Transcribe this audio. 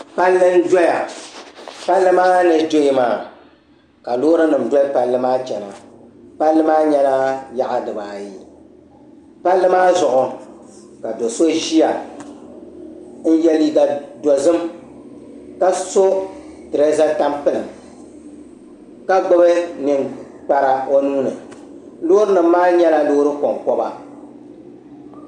Palli n doya ka Loori nim doli palli maa chana palli maa nyɛla yaɣa dibaayi palli maa zuɣu ka do so ʒiya n yɛ liiga dozim ka so tureeza tampilim ka gbubi ninkpari o nuuni Loori nim maa nyɛla Loori konkoba